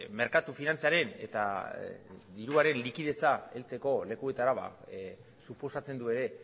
merkatu finantzaren eta diruaren likidetza heltzeko lekuetara suposatzen du ere